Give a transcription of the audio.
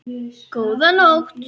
Góða nótt.